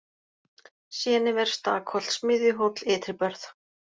Séniver, Stakholt, Smiðjuhóll, Ytribörð